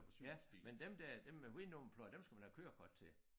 Ja men dem der dem med hvide nummerplader dem skal man have kørekort til